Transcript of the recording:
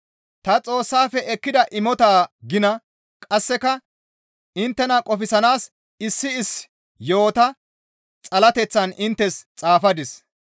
Ta Xoossafe ekkida imotaa gina qasseka inttena qofsanaas issi issi yo7ota xalateththan inttes xaafadis.